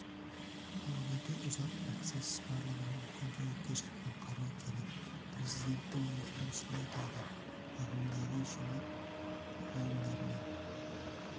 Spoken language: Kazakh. бұл өте ұзақ процесс барлығына үлкен жауапкершілікпен қарау керек президенттің өзі осылай деді ағымдағы жылы ғалымдармен